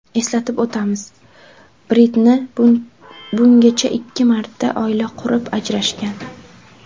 Eslatib o‘tamiz, Britni bungacha ikki marta oila qurib, ajrashgan.